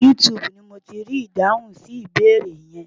YouTube ni mo ti rí ìdáhùn sí ìbéèrè yẹn.